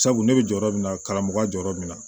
Sabu ne bɛ jɔ yɔrɔ min na karamɔgɔya jɔyɔrɔ bɛ na